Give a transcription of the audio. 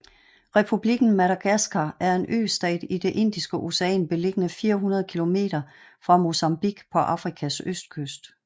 Republikken Madagaskar er en østat i det Indiske Ocean beliggende 400 kilometer fra Mozambique på Afrikas østkyst